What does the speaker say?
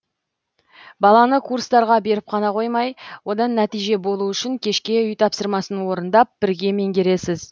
баланы курстарға беріп қана қоймай одан нәтиже болу үшін кешке үй тапсырмасын орындап бірге меңгересіз